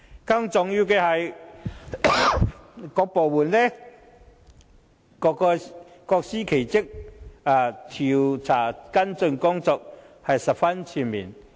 更重要的是，各部門各司其職，調查跟進工作是十分全面。